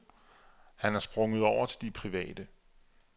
Han er sprunget over til de private.